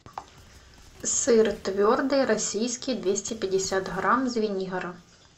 сыр твердый российский двести пятьдесят грамм звенигород